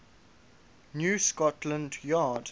new scotland yard